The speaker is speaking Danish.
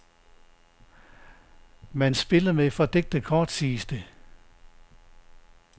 Man spiller med fordækte kort, siges det.